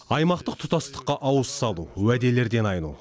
аймақтық тұтастыққа ауыз салу уәделерден айну